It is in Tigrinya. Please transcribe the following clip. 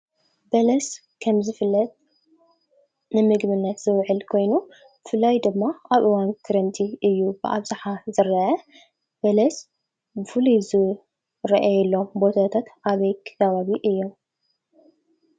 በለስ ከምዝፍለጥ ንምግብነት ዝዉዕል ኮይኑ ብፍላይ ድማ ኣብ እዋን ክረምቲ እዩ ብኣብዝሓ ዝረአ። በለስ ብፉሉይ ዝረአየሎም ቦታታት ኣበይ ከባቢ እዮም?